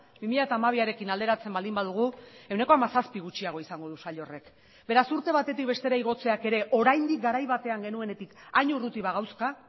bi mila hamabiarekin alderatzen baldin badugu ehuneko hamazazpi gutxiago izango du sail horrek beraz urte batetik bestera igotzeak ere oraindik garai batean genuenetik hain urruti bagauzka